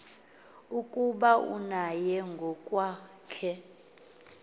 ukuba naye ngokwakhe